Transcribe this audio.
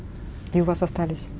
и у вас остались